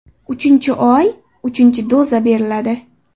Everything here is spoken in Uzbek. Uchinchi oy uchinchi doza beriladi.